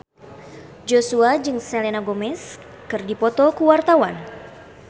Joshua jeung Selena Gomez keur dipoto ku wartawan